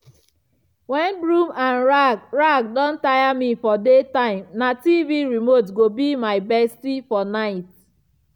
when broom and rag rag don tire me for day time na tv remote go be my bestie for night.